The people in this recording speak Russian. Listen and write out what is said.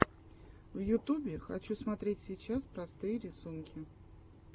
в ютубе хочу смотреть сейчас простые рисунки